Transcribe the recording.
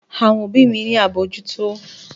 Àwọn òbí mi ní àbójútó